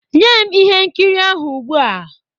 Nye m ihe nkiri ahụ ugbu a!